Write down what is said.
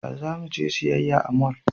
Ya za mu je siyayya a mall?